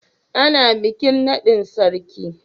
Ana bikin naɗin sarki.